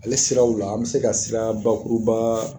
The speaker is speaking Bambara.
Ale siraw la an bɛ se ka siraa bakurubaa